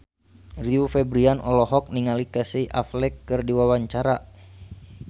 Rio Febrian olohok ningali Casey Affleck keur diwawancara